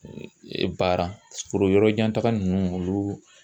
Baara foro yɔrɔjantaga ninnu olu